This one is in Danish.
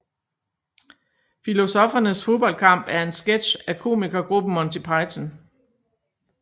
Filosoffernes Fodboldkamp er en sketch af komikergruppen Monty Python